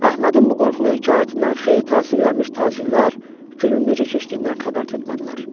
Əhmədin bu qorxulu hekayətindən xeyli təsirlənmiş tacirlər günün necə keçdiyindən xəbər tutmadılar.